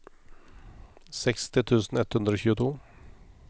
seksti tusen ett hundre og tjueto